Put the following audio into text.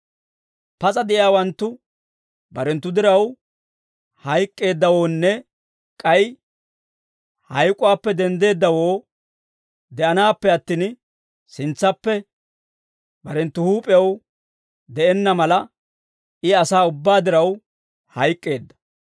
Pas'a de'iyaawanttu barenttu diraw hayk'k'eeddawoonne k'ay hayk'uwaappe denddeeddawoo de'anaappe attin, sintsappe barenttu huup'ew de'enna mala, I asaa ubbaa diraw hayk'k'eedda.